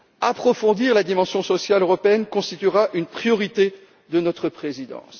Approfondir la dimension sociale européenne constituera une priorité de notre présidence.